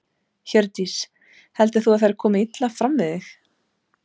Hjördís: Heldur þú að þær komi illa fyrir þig?